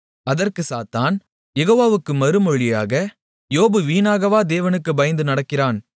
அதற்குச் சாத்தான் யெகோவாவுக்கு மறுமொழியாக யோபு வீணாகவா தேவனுக்குப் பயந்து நடக்கிறான்